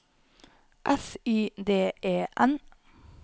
S Y D E N